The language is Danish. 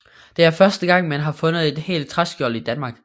Det er første gang man har fundet et helt træskjold i Danmark